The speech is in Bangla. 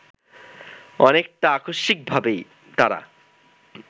অনেকটা আকস্মিকভাবেই তারা